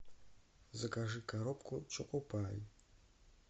закажи коробку чоко пай